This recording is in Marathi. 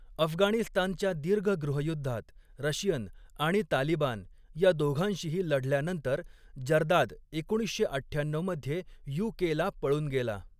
अफगाणिस्तानच्या दीर्घ गृहयुद्धात रशियन आणि तालिबान या दोघांशीही लढल्यानंतर जर्दाद एकोणीसशे अठ्ठ्याण्णऊ मध्ये यू.के.ला पळून गेला.